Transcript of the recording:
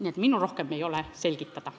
Minul ei ole rohkem midagi selgitada.